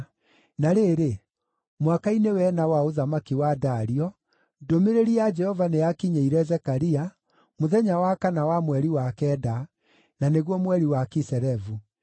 Na rĩrĩ, mwaka-inĩ wa ĩna wa ũthamaki wa Dario, ndũmĩrĩri ya Jehova nĩyakinyĩire Zekaria, mũthenya wa kana wa mweri wa kenda, na nĩguo mweri wa Kiselevu.